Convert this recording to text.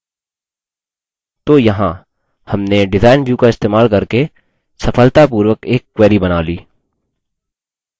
तो यहाँ हमने डिज़ाइन व्यू का इस्तेमाल करके सफलतापूर्वक एक query बना ली